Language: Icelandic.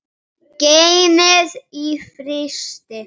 Geymið í frysti.